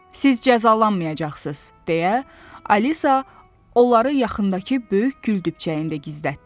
Siz cəzalanmayacaqsız, deyə Alisa onları yaxındakı böyük güldübçəyində gizlətdi.